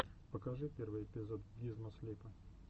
покажи первый эпизод гизмо слипа